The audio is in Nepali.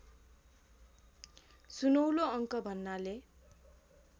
सुनौलो अङ्क भन्नाले